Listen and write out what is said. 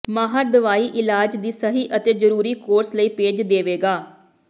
ਮਾਹਰ ਦਵਾਈ ਇਲਾਜ ਦੀ ਸਹੀ ਅਤੇ ਜ਼ਰੂਰੀ ਕੋਰਸ ਲਈ ਭੇਜ ਦੇਵੇਗਾ